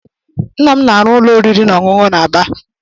Nna m na-arụ ụlọ oriri na ọṅụṅụ na Aba.